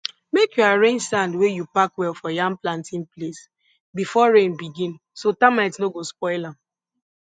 make you arrange sand wey you pack well for yam planting place before rain begin so termites no go spoil am